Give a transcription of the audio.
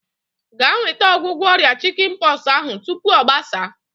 Ga nweta ọgwụgwọ ọrịa chikin pọksi ahu tupu ọ gbasaa!